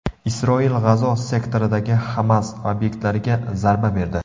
Isroil G‘azo sektoridagi Hamas obyektlariga zarba berdi.